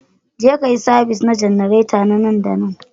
Jeka yi sabis na janareta na nan da nan